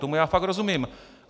Tomu já fakt rozumím.